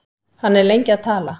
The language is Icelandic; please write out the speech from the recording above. Hann er lengi að tala.